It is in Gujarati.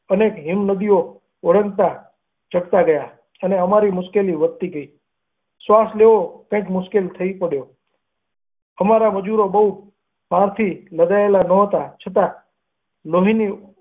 અનેક હિમનદીઓ ઓળંગના ચડતા ગયા અને અમારી મુશ્કેલી વધતી ગઈ ઘાસ લેવો કંઈક મુશ્કેલ થઈ પડ્ય અમારા મજૂરો બહુ ભારથી લદાયેલા નહતા છતાં લોહીની.